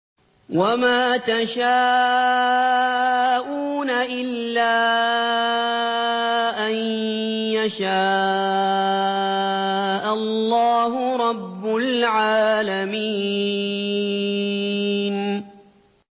وَمَا تَشَاءُونَ إِلَّا أَن يَشَاءَ اللَّهُ رَبُّ الْعَالَمِينَ